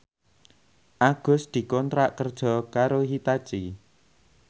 Agus dikontrak kerja karo Hitachi